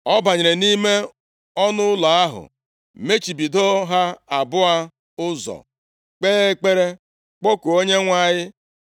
Ọ banyere nʼime ọnụụlọ ahụ, mechibido ha abụọ ụzọ, kpee ekpere, kpọkuo Onyenwe anyị.